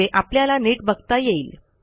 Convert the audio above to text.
म्हणजे आपल्याला नीट बघता येईल